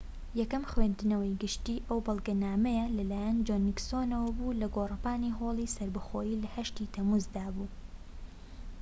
یەکەم خوێندنەوەی گشتی ئەو بەڵگەنامەیە لەلایەن جۆن نیکسۆنەوە بوو لە گۆڕەپانی هۆڵی سەربەخۆیی لە 8 ی تەمموزدا بوو‎